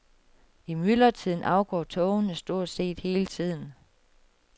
I myldretiden afgår togene stort set hele tiden.